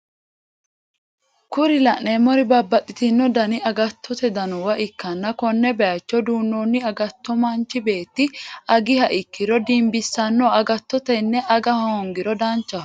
Kuri la'neemori babbaxitino dani agatto duunooniwa ikkanna konne bayiicho duunonni agatto manchu beetti agiha ikkiro dinbisanno agattoti tene aga hoongiro danchaho.